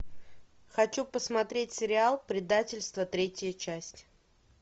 хочу посмотреть сериал предательство третья часть